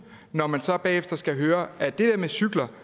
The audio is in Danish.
når man så bagefter skal høre at det der med cykler